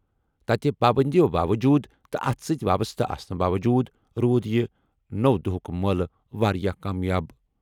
تَتہِ پابٔنٛدِیو باوجوٗد تہٕ اَتھ سۭتۍ وابسطہٕ آسنہٕ باووٚجوٗد روٗد یہِ نو دۄہُک مٲلہ واریٛاہ کامیاب۔